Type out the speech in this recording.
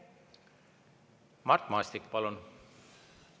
Mart Maastik, palun!